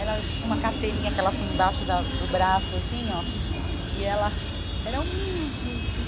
Ela tinha uma carteirinha que ela punha embaixo da do braço, assim, ó. E ela era humilde.